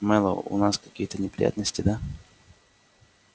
мэллоу у нас какие-то неприятности да